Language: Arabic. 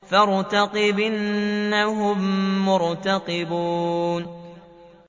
فَارْتَقِبْ إِنَّهُم مُّرْتَقِبُونَ